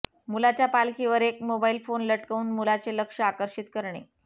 मुलाच्या पालखीवर एक मोबाईल फोन लटकवून मुलाचे लक्ष आकर्षित करणे